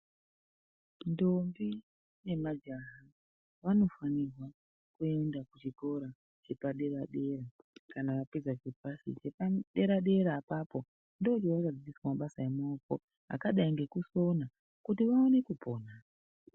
Ndombi ne majaha vanofanirwa kuenda ku chikora chepa dera dera kana apedza chepasi chepa dera dera apapo ndo chavano dzidziswa mabasa emaoko akadai ngekusona kuti vaone kupona.